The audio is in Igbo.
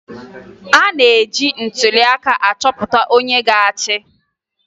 E ji ntụliaka achọpụta onye ga-achị